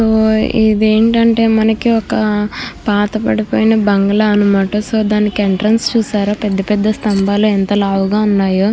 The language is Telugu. ఇది ఏంటి అంటే ఒక పాత బడి పోయిన బంగ్లా అనమాట. సో దానికి ఎంట్రన్స్ చూసారా పెద్ద పెద్ద స్థంబాలు ఎంత లావుగా ఉన్నాయో.